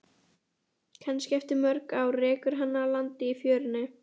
Kannski eftir mörg ár rekur hana að landi í fjörunni.